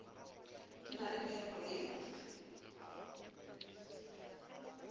di na le phepo ye